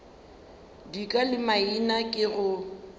dika le maina ke go